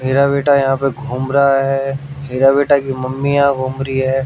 मेरा बेटा यहां पर घूम रहा है। हीरा बेटा की मम्मी यहां पर घूम रही है।